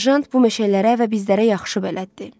Serjant bu meşələrə və bizlərə yaxşı bələddir.